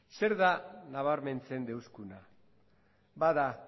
zer da nabarmentzen deuskuna bat da